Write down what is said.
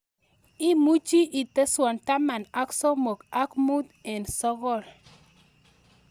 Imuchi iteswan taman ak somok ak mut en sogol